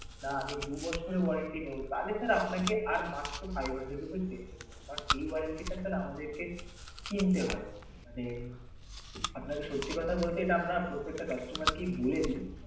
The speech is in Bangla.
আর দু বছরের warranty নেব তাহলি sir আপনাকে আর মাত্র five hundred rupee extra দিতে হবে কারণ এই warranty টা sir আমাদের কে কিনতে হয়, যে আপনাদের সত্যি কথা বলতে এটা আমরা প্রত্যেকটা customer কে আমরা বলে দেই